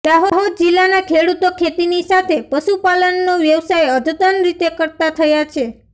દાહોદ જિલ્લાના ખેડૂતો ખેતીની સાથે પશુપાલનનો વ્યવસાય પણ અધતન રીતે કરતા થયા છે